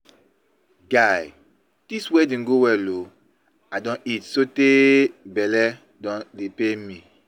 Guy, dis wedding go well ooo, I don eat so tey bele dey pain me.